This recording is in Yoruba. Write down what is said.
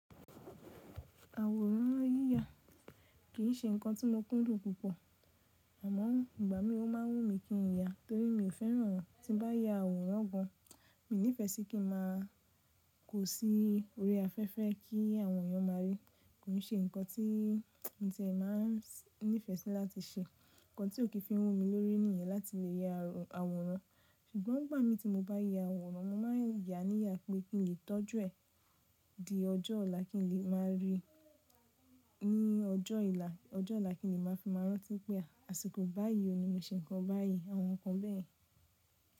Àwòrán yíya kì í ṣe nǹkan tí mo kúndùn púpọ̀, àmọ́ ìgbà mí ó máa wú mi kí n ya torí mi ò fẹ́ràn tí bá ya àwòrán gan. Mi nífẹ̀ẹ́ sí kí máa kó sí orí afẹ́fẹ́ kí àwọn èèyàn máa ríi. Kò n ṣe nǹkan ti mi tìẹ máa n nífẹ́ sì láti ṣe. Nǹkan tí ó kì í fi wú mi lórí nìyẹn láti lè ya àwòrán. Ṣùgbọ́n ìgbà mí tí mo bá ya àwòrán, mo máa yá níyà pé kí n lè tọ́jú ẹ̀ di ọjọ́ ọ̀la kí n lè máa rí i ní ọjọ́ ila, ọjọ́ ọ̀la kí n lè máa fi máa rántí pé àsìkò báyìí ni mo ṣe nǹkan báyìí àwọn nǹkan bẹ́ẹ̀.